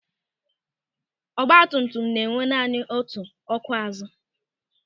Ọgbatumtum na enwe naanị otu ọ́kụ́ azu.